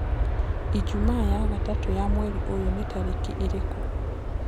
ijũmaa ya gatatu ya mwerĩ uyu ni tarĩkĩĩrĩkũ